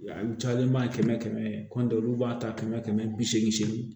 A cayalenba ye kɛmɛ kɛmɛ ta kɛmɛ kɛmɛ bi seegin segin